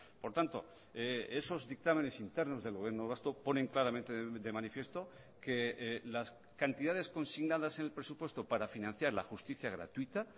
por tanto esos dictámenes internos del gobierno vasco ponen claramente de manifiesto que las cantidades consignadas en el presupuesto para financiar la justicia gratuita